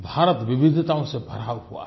भारत विविधताओं से भरा हुआ है